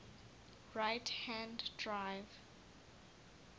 right hand drive